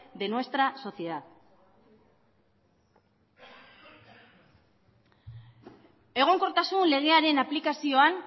de nuestra sociedad egonkortasun legearen aplikazioan